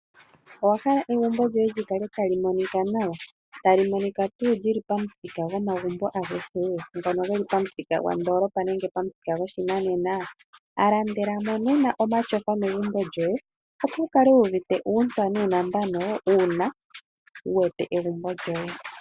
Owa hala egumbo lyoye li kale tali monika nawa? Tali monika tuu li li pomuthika gwomagumbo agehe? Ngono ge li pomuthika gwondoolopa nenge pomuthika goshinanena? Landela mo nena omatyofa megumbo lyoye opo wu kale wu uvite uuntsa nuunambano uuna wu wete egumbo lyoye.